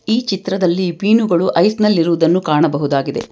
ಈ ಚಿತ್ರದಲ್ಲಿ ಮೀನುಗಳು ಐಸ್ ನಲ್ಲಿ ಇರುವುದನ್ನು ಕಾಣಬಹುದಾಗಿದೆ.